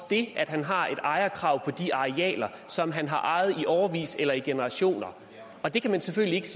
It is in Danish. af at han har ejerkrav på de arealer som han har ejet i årevis eller i generationer det kan man selvfølgelig ikke